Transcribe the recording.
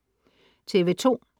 TV2: